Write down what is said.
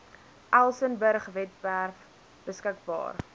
elsenburg webwerf beskikbaar